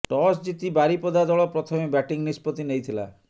toss ଜିତି ବାରିପଦା ଦଳ ପ୍ରଥମେ ବ୍ୟାଟିଂ ନିଷ୍ପତ୍ତି ନେଇଥିଲା